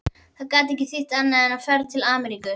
Það gat ekki þýtt annað en ferð til Ameríku.